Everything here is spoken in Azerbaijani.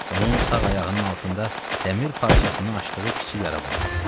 Onun sağ ayağının altında dəmir parçasını açdığı kiçik yara vardı.